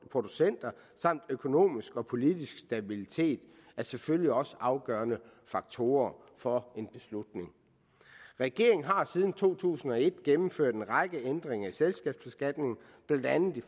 producenter samt økonomisk og politisk stabilitet er selvfølgelig også afgørende faktorer for en beslutning regeringen har siden to tusind og et gennemført en række ændringer i selskabsbeskatningen blandt andet